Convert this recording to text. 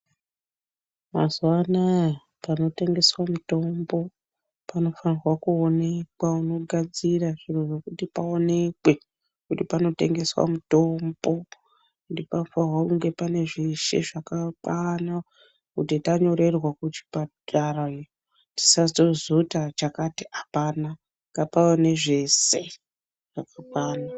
Mazuva anaya panotengeswa mitombo panofanirwa kuonekwa. Mogadzira zviro zvekuti paonekwe kuti panotengeswa mutombo. Ende panofanirwa kunge pane zveshe zvakakwana kuti tanyorerwa kuchipatara iyo tisazoti chakati hapana, ngapave nezvese zvakakwana.